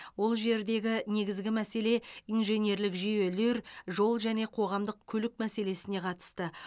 ол жердегі негізгі мәселе инженерлік жүйелер жол және қоғамдық көлік мәселесіне қатысты